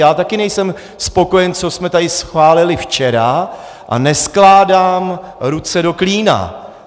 Já taky nejsem spokojen, co jsme tady schválili včera, a neskládám ruce do klína.